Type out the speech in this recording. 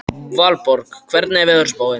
Valborg, hvernig er veðurspáin?